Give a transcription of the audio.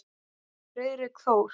Friðrik Þór.